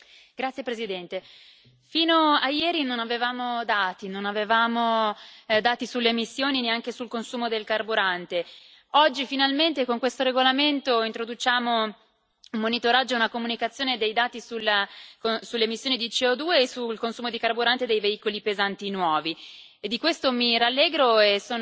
Signor Presidente, onorevoli colleghi, fino a ieri non avevamo dati sulle emissioni e neanche sul consumo del carburante. Oggi, finalmente, con questo regolamento introduciamo un monitoraggio e una comunicazione dei dati sulle emissioni di CO2 e sul consumo di carburante dei veicoli pesanti nuovi. Di questo mi rallegro